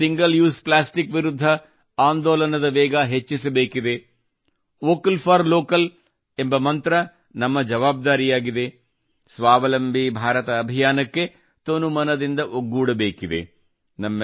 single use plastic ಆಂದೋಲನದ ವೇಗ ಹೆಚ್ಚಿಸಬೇಕಿದೆ ವೋಕಲ್ ಫಾರ್ ಲೋಕಲ್ ಎಂಬ ಮಂತ್ರ ನಮ್ಮ ಜವಾಬ್ದಾರಿಯಾಗಿದೆ ಸ್ವಾವಲಂಬಿ ಭಾರತ ಅಭಿಯಾನಕ್ಕೆ ತನುಮನದಿಂದ ಒಗ್ಗೂಡಬೇಕಿದೆ